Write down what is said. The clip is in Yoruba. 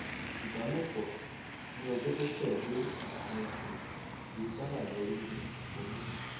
ìbálòpọ ní ọjọ tó tẹlé nǹkan oṣù kì í sábà yọrí sí oyún